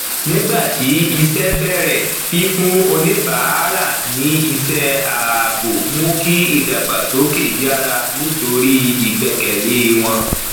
nígbà tí iṣẹ bẹrẹ fífún oníbàárà ní iṣẹ ààbò mú kí ìdàgbàsókè yára nítorí ìgbẹkẹlé wọn